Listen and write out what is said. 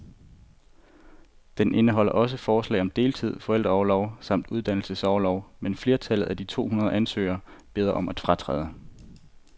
Den indeholder også forslag om deltid, forældreorlov samt uddannelsesorlov, men flertallet af de to hundrede ansøgere beder om at fratræde.